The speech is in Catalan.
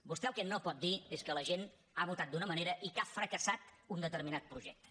vostè el que no pot dir és que la gent ha votat d’una manera i que ha fracassat un determinat projecte